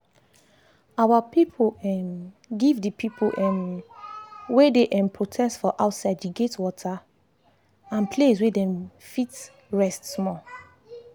our people um give d people um wey dey um protest for outside d gate water and place way dem fit rest small